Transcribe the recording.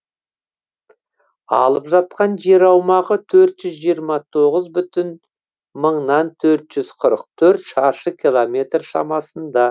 алып жатқан жер аумағы төрт жүз жиырма тоғыз бүтін мыңнан төрт жүз қырық төрт шаршы километр шамасында